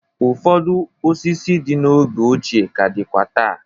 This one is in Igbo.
Ụfọdụ osisi dị n'oge ọchịe ka dịkwa taa.